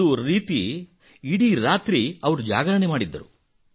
ಒಂದು ರೀತಿ ಇಡೀ ರಾತ್ರಿ ಅವರು ಜಾಗರಣೆ ಮಾಡಿದ್ದರು